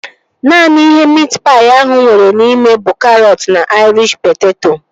Naanị ihe miit paị ahụ nwere n'ime bụ karọt na aịrish poteto